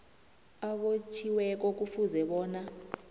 obotjhiweko kufuze bona